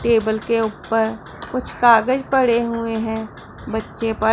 table के ऊपर कुछ कागज पड़े हुए हैं बच्चे पढ़--